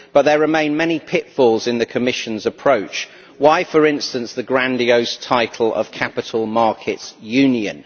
But there remain many pitfalls in the Commission's approach. Why, for instance the grandiose title of Capital Markets Union?